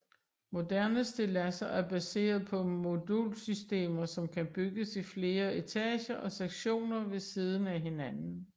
Moderne stilladser er baseret på modulsystemer som kan bygges i flere etager og sektioner ved siden af hinanden